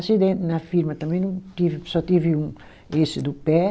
Acidente na firma também não tive, só tive um, esse do pé.